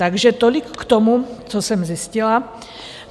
Takže tolik k tomu, co jsem zjistila.